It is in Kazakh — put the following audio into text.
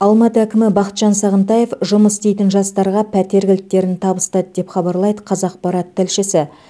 алматы әкімі бақытжан сағынтаев жұмыс істейтін жастарға пәтер кілттерін табыстады деп хабарлайды қазақпарат тілшісі